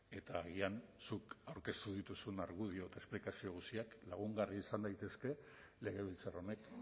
eta agian zuk aurkeztu dituzun argudio eta esplikazio guztiak lagungarriak izan daitezke legebiltzar honek